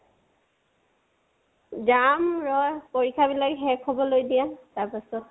যাম ৰাহ। পৰীক্ষাবিলাক শেষ হবলৈ দিয়া তাৰ পিছতটো